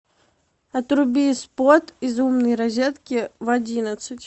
отруби спот из умной розетки в одиннадцать